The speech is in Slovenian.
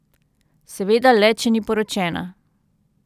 Seveda le, če ni poročena.